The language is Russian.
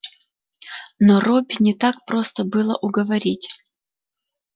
но робби не так просто было уговорить